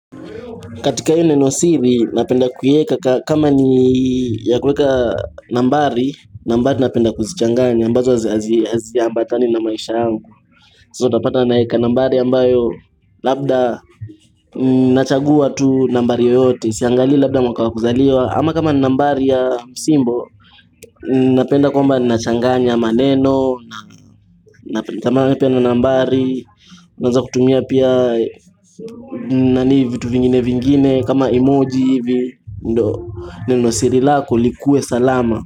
Katika ile neno siri napenda kuieka kama ni ya kuweka nambari nambari napenda kuzichanganya ambazo hazi ambatani na maisha yangu So utapata naeka nambari ambayo labda nachagua tu nambari yote siangalii labda mwaka wa kuzaliwa ama kama ni nambari ya msimbo Napenda kwamba nachanganya maneno kama pia ni nambari naeza kutumia pia nani vitu vingine vingine kama emoji hivi ndo Nenosiri lako likue salama.